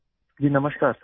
جی نمسکار سر